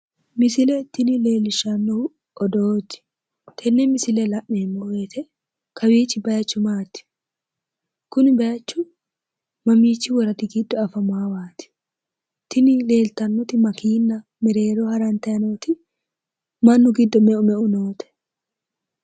Misile tini leellishshanohu odoote tenne misile la'neemmo woyiite kawiichi bayiichu maati? Kuni bayiichu mamiichi woradi giddo afamaawaati? Tini leeltanoti makiinna mereeroho harantanni nooti mannu giddo meu meu noote?